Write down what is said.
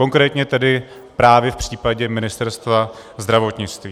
Konkrétně tedy právě v případě Ministerstva zdravotnictví.